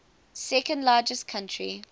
second largest country